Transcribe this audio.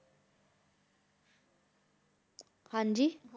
ਹਾਂਜੀ